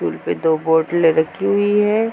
पे दो बोतलें रखी हुई हैं।